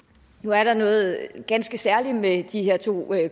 nu er der noget ganske særligt med de her to